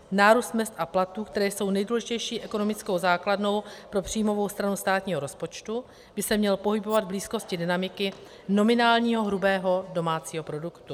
Nárůst mezd a platů, které jsou nejdůležitější ekonomickou základnou pro příjmovou stranu státního rozpočtu, by se měl pohybovat v blízkosti dynamiky nominálního hrubého domácího produktu.